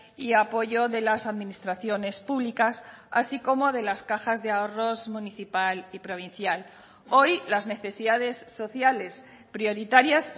y apoyo de las administraciones públicas así como de las cajas de ahorros municipal y provincial hoy las necesidades sociales prioritarias